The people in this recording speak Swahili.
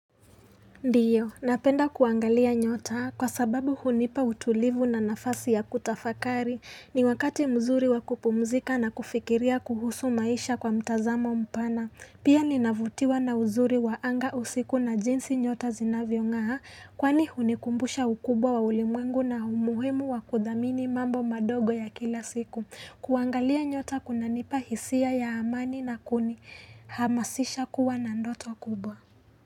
Ndio, napenda kuangalia nyota kwa sababu hunipa utulivu na nafasi ya kutafakari ni wakati mzuri wa kupumzika na kufikiria kuhusu maisha kwa mtazamo mpana Pia ninavutiwa na uzuri wa anga usiku na jinsi nyota zinavyong'aa Kwani hunikumbusha ukubwa wa ulimwengu na umuhimu wakudhamini mambo madogo ya kila siku kuangalia nyota kunanipa hisia ya amani na kuni hamasisha kuwa na ndoto kubwa.